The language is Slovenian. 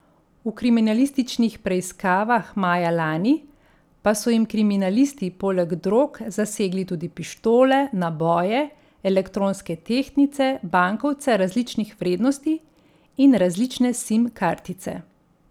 V kriminalističnih preiskavah maja lani pa so jim kriminalisti poleg drog zasegli tudi pištole, naboje, elektronske tehtnice, bankovce različnih vrednosti in različne sim kartice.